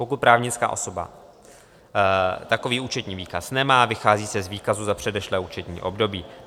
Pokud právnická osoba takový účetní výkaz nemá, vychází se z výkazu za předešlé účetní období.